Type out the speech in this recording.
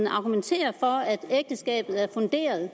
argumenterer for at ægteskabet er funderet i